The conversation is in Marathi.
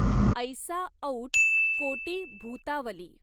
ऐसा औट कोटी भूतावली।